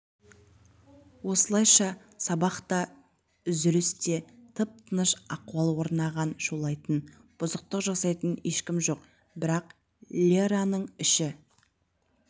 осылайша сабақта да үзілісте де тып-тыныш ахуал орнаған шулайтын бұзықтық жасайтын ешкім жоқ бірақ лераның іші